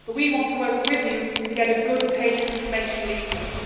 But we want to work with you to have a good patient information leaflet.